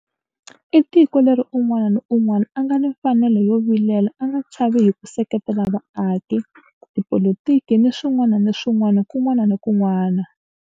I tiko leri un'wana ni un'wana a nga ni mfanelo yo vilela a nga chavi hi ku seketela vaaki, tipolitiki ni swin'wana ni swin'wana kun'wana ni kun'wana.